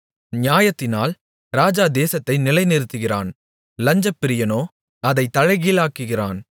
நியாயத்தினால் ராஜா தேசத்தை நிலைநிறுத்துகிறான் லஞ்சப்பிரியனோ அதைக் தலைகீழாக்குகிறான்